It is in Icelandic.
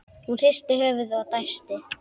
Hún hristir höfuðið og dæsir.